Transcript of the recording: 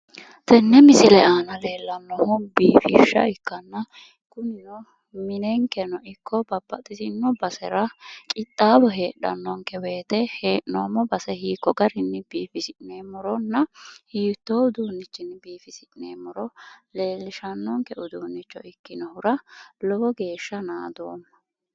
tenne misile aana leellannohu biifishsha ikkanna kunino minenkeno ikko babbaxitino basera qixxaawo heedhanonke wote hee'noommo base hiikko garinni biifisi'neemmorona hiittoo uduunnichinni biifisi'neemmoro leellishannonke uduunnicho ikkinonkehura lowo geeshsha naadoomma.